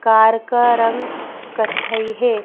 Car का रंग कथई है।